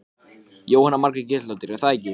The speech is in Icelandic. Jóhanna Margrét Gísladóttir: Er það ekki?